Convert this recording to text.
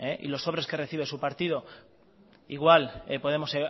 y los sobres que recibe su partido igual podemos